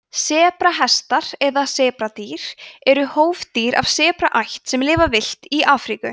sebrahestar eða sebradýr eru hófdýr af hestaætt sem lifa villt í afríku